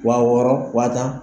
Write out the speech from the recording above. Wa wɔɔrɔ wa tan.